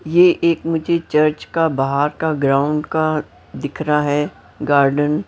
ये एक मुझे चर्च का बाहर का ग्राउंड का दिख रहा है गार्डन --